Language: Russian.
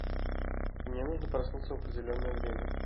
мне нужно проснуться в определенное время